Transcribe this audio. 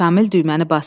Şamil düyməni basır.